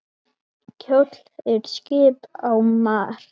Kjóll er skip á mar.